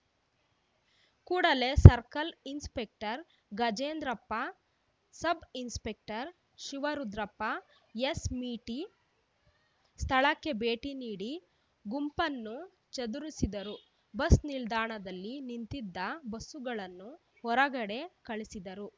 ಕೂಡಲೆ circle inspector Gajendrappa sub inspector Shivarudrappa ಎಸ್‌ಮೀಟಿ ಸ್ಥಳಕ್ಕೆ ಭೇಟಿನೀಡಿ ಗುಂಪನ್ನು ಚದುರಿಸಿದರು ಬಸ್‌ ನಿಲ್ದಾಣದಲ್ಲಿ ನಿಂತಿದ್ದ ಬಸ್ಸುಗಳನ್ನು ಹೊರಗಡೆ ಕಳಿಸಿದರು